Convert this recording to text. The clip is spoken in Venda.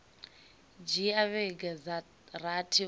dzhia vhege dza rathi u